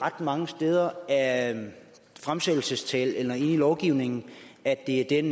ret mange steder af fremsættelsestalen eller inde i lovgivningen at det er